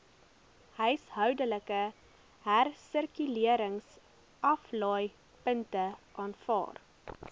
huishoudelike hersirkuleringsaflaaipunte aanvaar